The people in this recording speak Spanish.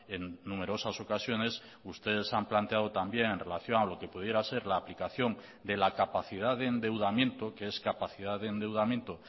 en numerosas ocasiones ustedes han planteado también en relación a lo que pudiera ser la aplicación de la capacidad de endeudamiento que es capacidad de endeudamiento